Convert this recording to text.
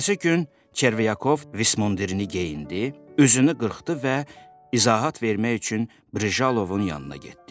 Ertəsi gün Çervyakov vismundirini geyindi, üzünü qırxdı və izahat vermək üçün Brižalovun yanına getdi.